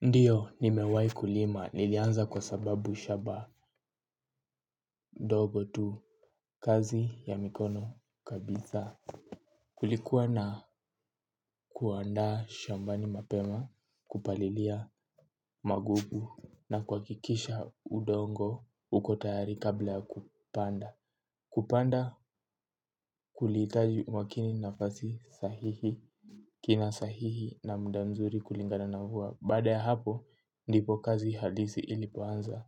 Ndiyo nimewahi kulima nilianza kwa sababu shamba ndogo tu kazi ya mikono kabisa. Kulikuwa na kuandaa shambani mapema kupalilia magugu na kuhakikisha udongo uko tayari kabla kupanda. Kupanda kulihitaji umakini nafasi sahihi kina sahihi na muda mzuri kulingana na mvua. Baada ya hapo, ndipo kazi halisi ilipoanza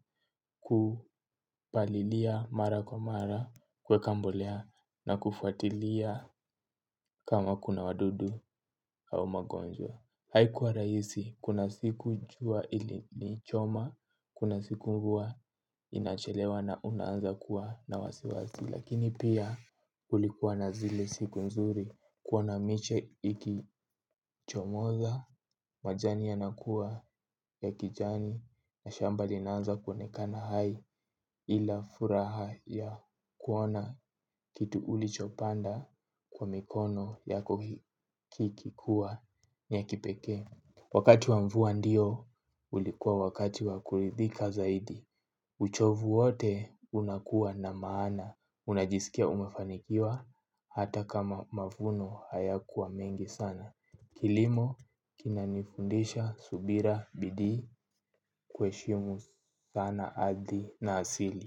kupalilia mara kwa mara kuweka mbolea na kufatilia kama kuna wadudu au magonjwa. Haikuwa rahisi, kuna siku jua ilinichoma, kuna siku mvua inachelewa na unaanza kuwa na wasiwasi. Lakini pia ulikuwa na zile siku nzuri kuona miche ikichomoza, majani yanakuwa ya kijani na shamba linanza kuonekana hai ila furaha ya kuona kitu ulichopanda kwa mikono yako kikikua ni ya kipekee. Wakati wa mvua ndio, ulikuwa wakati wa kuridhika zaidi. Uchovu wote unakua na maana. Unajisikia umefanikiwa, hata kama mavuno haya kuwa mengi sana. Kilimo, kinanifundisha, subira, bidii, kuheshimu sana ardhi na asili.